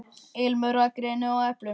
Ilmur af greni og eplum.